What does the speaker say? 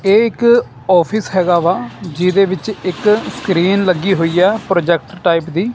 ਇਹ ਇੱਕ ਆਫਿਸ ਹੈਗਾ ਵਾ ਜਿਹਦੇ ਵਿੱਚ ਇੱਕ ਸਕ੍ਰੀਨ ਲੱਗੀ ਹੋਈ ਆ ਪ੍ਰੋਜੈਕਟ ਟਾਈਪ ਦੀ।